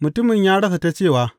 Mutumin ya rasa ta cewa.